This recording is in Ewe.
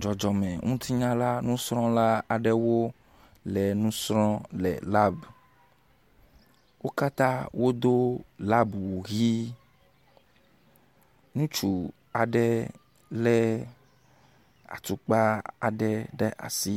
Dzɔdzɔmeŋutinyala nusrɔ̃la aɖewo le nu srɔ̃m le labu. Wo katã wodo labuwu ʋi. Ŋutsu aɖe lé atukpa aɖe ɖe asi.